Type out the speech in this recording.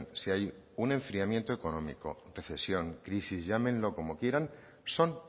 si hay un enfriamiento económico recesión crisis llámenlo como quieran son